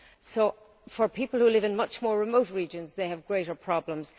So for people who live in much more remote regions they have greater problems.